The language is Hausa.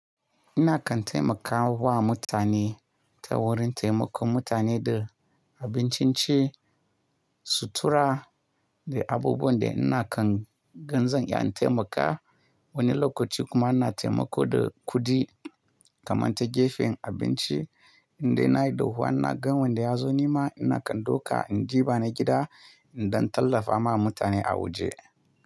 Ina kan taimakawa mutane ta wurin taimakon mutane da abincin ci, sutura da abubuwan da ina kan ga zan iya in taimaka. Wani lokaci kuma ina taimako da kuɗi kamar ta gefen abinci in dai nayi dahuwa ina. Ga wanda ya zo nima ina kan ɗauka in ji bani gida in ɗan tallafa ma mutane a waje.